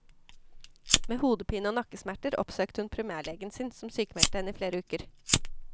Med hodepine og nakkesmerter oppsøkte hun primærlegen sin, som sykmeldte henne i flere uker.